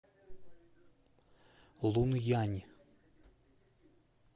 лунъянь